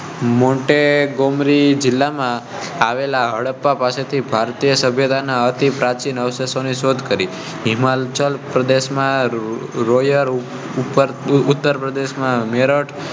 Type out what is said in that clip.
મોટે ગોમરી જિલ્લામાં આવેલા હડપ્પા પાસેથી ભારતીય સભ્યતા ના અતિ પ્રાચીન અવશેષો ની શોધ કરી હિમાચલ પ્રદેશ માં રોયલ ઉપર ઉત્તર પ્રદેશ ના મેરઠ